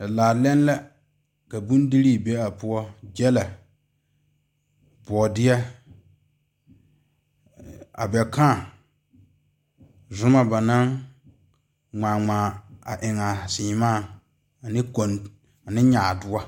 Laalɛŋ la ka bondire be a poɔ gyile boɔdɛ abekãã zɔma banaŋ ŋmaa ŋmaa a eŋ a seɛmaa ane koŋ ane nyadoɔ.